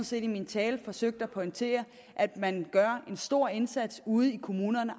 set i min tale forsøgte at pointere at man gør en stor indsats ude i kommunerne